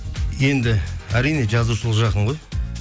енді әрине жазушылық жақын ғой